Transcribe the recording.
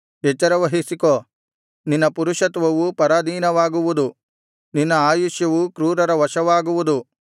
ಎಚ್ಚರವಹಿಸಿಕೋ ನಿನ್ನ ಪುರುಷತ್ವವು ಪರಾಧೀನವಾಗುವುದು ನಿನ್ನ ಆಯುಷ್ಯವು ಕ್ರೂರರ ವಶವಾಗುವುದು